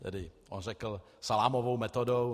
Tedy on řekl salámovou metodou.